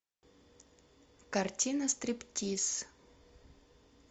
картина стриптиз